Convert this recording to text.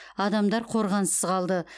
адамдар қорғансыз қалды